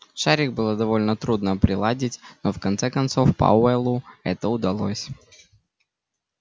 шарик было довольно трудно приладить но в конце концов пауэллу это удалось